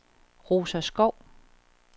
Rosa Schou